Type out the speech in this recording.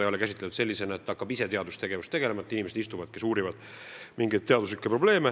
Ei ole mõeldud nii, et seal hakatakse teadustegevusega tegelema, et inimesed istuvad ja uurivad mingeid teadusprobleeme.